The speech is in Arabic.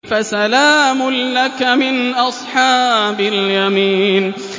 فَسَلَامٌ لَّكَ مِنْ أَصْحَابِ الْيَمِينِ